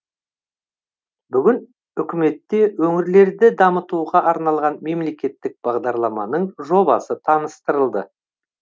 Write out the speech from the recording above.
бүгін үкіметте өңірлерді дамытуға арналған мемлекеттік бағдарламаның жобасы таныстырылды